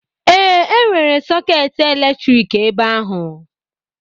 Ee, enwere sọketi eletrik ebe ahụ.